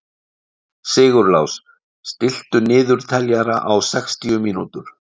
Sigurlás, stilltu niðurteljara á sextíu mínútur.